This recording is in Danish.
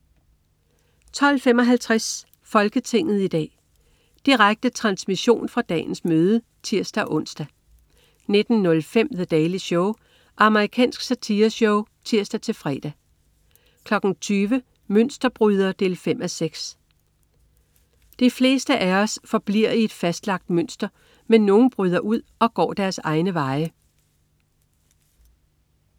12.55 Folketinget i dag. Direkte transmission fra dagens møde (tirs-ons) 19.05 The Daily Show. Amerikansk satireshow (tirs-fre) 20.00 Mønsterbryder 5:6. De fleste af os forbliver i et fastlagt mønster, men nogle bryder ud og går egne veje